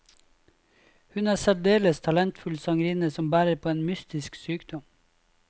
Hun er en særdeles talentfull sangerinne som bærer på en mystisk sykdom.